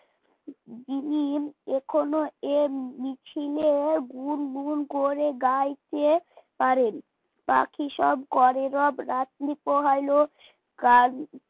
যিনি এখনও এ মিছিলে গুনগুন করে গাইতে পারেন পাখি সব করে রব রাত্রি পোহাইল গান